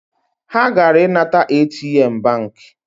Ha gara inata ATM banki